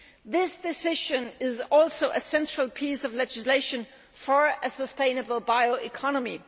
This decision is also a central piece of legislation for a sustainable bioeconomy.